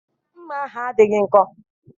Mma ahụ adịghị nkọ.